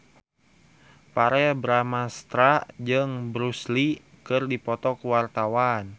Verrell Bramastra jeung Bruce Lee keur dipoto ku wartawan